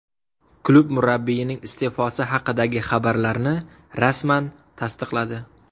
Klub murabbiyning iste’fosi haqidagi xabarlarni rasman tasdiqladi .